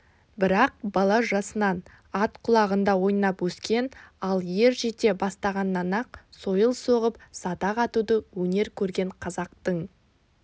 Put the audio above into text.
бірақ бала жасынан ат құлағында ойнап өскен ал ер жете бастағаннан-ақ сойыл соғып садақ атуды өнер көрген қазақтың